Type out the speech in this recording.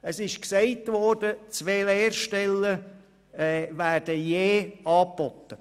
Es wurde erwähnt, auf den Grundbuchämtern würden je zwei Lehrstellen angeboten.